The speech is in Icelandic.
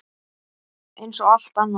Eins og allt annað.